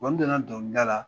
N donna donkili da la